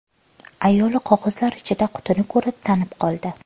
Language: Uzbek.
Ayoli qog‘ozlar ichida qutini ko‘rib tanib qoldi.